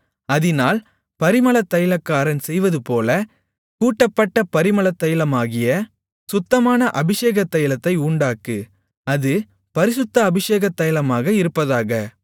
அதினால் பரிமளத்தைலக்காரன் செய்வதுபோல கூட்டப்பட்ட பரிமளத்தைலமாகிய சுத்தமான அபிஷேக தைலத்தை உண்டாக்கு அது பரிசுத்த அபிஷேக தைலமாக இருப்பதாக